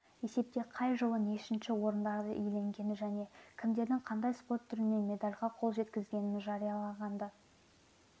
есепте қай жылы нешінші орындарды иеленгені және кімдердің қандай спорт түрлерінен медальға қол жеткізгенін жариялағанды